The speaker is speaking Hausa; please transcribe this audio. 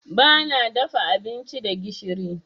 Bana dafa abinci da gishiri.